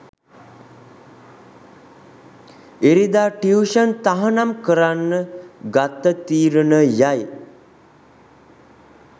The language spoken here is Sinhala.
ඉරිදා ටියුෂන් තහනම් කරන්න ගත්ත තීරණයයි.